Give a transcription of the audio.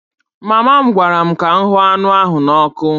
Mama m gwara m ka m hụ anụ ahụ n'ọkụ